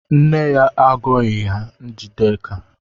Nne ya agọghị ya Njideka.